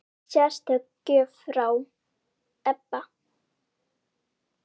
Sérstök gjöf frá Ebba.